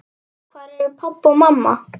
Hvar eru pabbi og mamma?